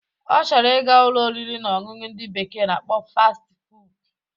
Ọ chọrọ ị ga Ụlọ oriri na ọṅụṅụ ndị bekee na-akpọ Fasti fuud